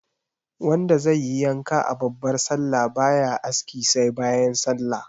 Wanda zaiyi yanka a babbar sallah baya aski sai bayan sallah